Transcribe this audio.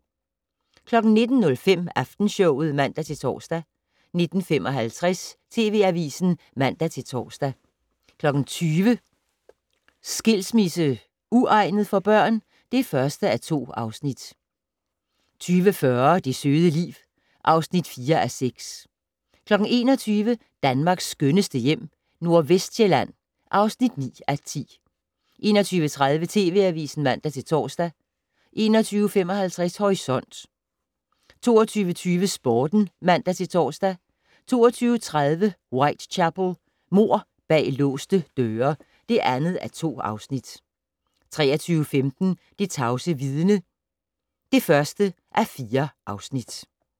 19:05: Aftenshowet (man-tor) 19:55: TV Avisen (man-tor) 20:00: Skilsmisse - uegnet for børn? (1:2) 20:40: Det søde liv (4:6) 21:00: Danmarks skønneste hjem - Nordvestsjælland (9:10) 21:30: TV Avisen (man-tor) 21:55: Horisont 22:20: Sporten (man-tor) 22:30: Whitechapel: Mord bag låste døre (2:2) 23:15: Det tavse vidne (1:4)